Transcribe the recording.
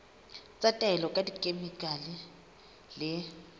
tsa taolo ka dikhemikhale le